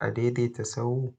a daidaita sahu.